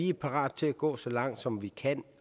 er parat til at gå så langt som vi kan